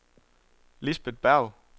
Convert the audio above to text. Lisbet Berg